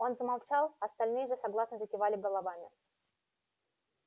он замолчал остальные же согласно закивали головами